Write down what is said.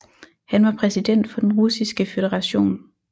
Han var præsident for den Russiske Føderation